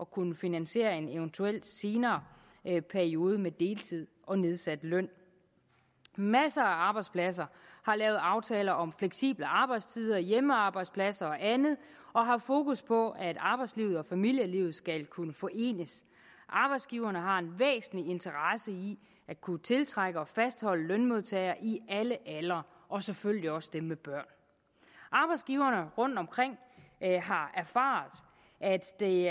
kunne finansiere en eventuel senere periode med deltid og nedsat løn masser af arbejdspladser har lavet aftaler om fleksible arbejdstider hjemmearbejdspladser og andet og har haft fokus på at arbejdslivet og familielivet skal kunne forenes arbejdsgiverne har en væsentlig interesse i at kunne tiltrække og fastholde lønmodtagere i alle aldre og selvfølgelig også dem med børn arbejdsgiverne rundtomkring har erfaret at det